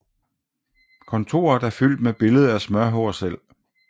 Kontoret er fyldt med billede af Smørhår selv